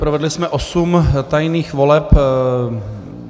Provedli jsme osm tajných voleb.